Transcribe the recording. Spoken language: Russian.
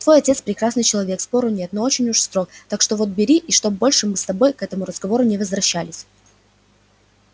твой отец прекрасный человек спору нет но очень уж строг так что вот бери и чтоб больше мы с тобой к этому разговору не возвращались